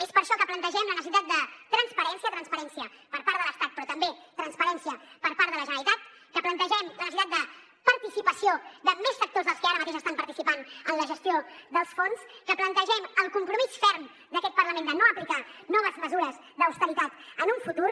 és per això que plantegem la necessitat de transparència transparència per part de l’estat però també transparència per part de la generalitat que plantegem la necessitat de participació de més sectors dels que ara mateix estan participant en la gestió dels fons que plantegem el compromís ferm d’aquest parlament de no aplicar noves mesures d’austeritat en un futur